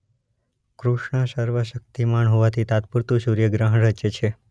કૃષ્ણ સર્વ શક્તિમાન હોવાથી તાત્પુરતુ સૂર્ય ગ્રહણ રચે છે.